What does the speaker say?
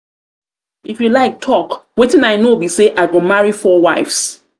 if you like talk wetin i know be say i go marry 4 wives.